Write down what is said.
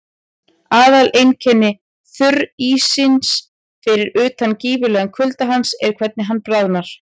Aðaleinkenni þurríssins, fyrir utan gífurlegan kulda hans, er hvernig hann bráðnar.